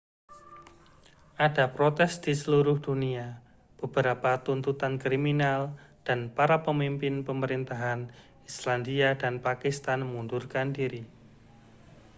ada protes di seluruh dunia beberapa tuntutan kriminal dan para pemimpin pemerintahan islandia dan pakistan mengundurkan diri